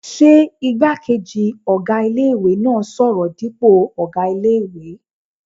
Ṣé igbákejì ọ̀gá ilé-ìwé náà n sọ̀rọ̀ dípò ọ̀gá ilé-ìwé?